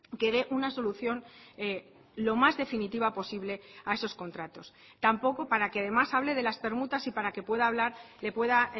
que dé una solución lo más definitiva posible a esos contratos tampoco para que además hable de las permutas y para que pueda hablar le pueda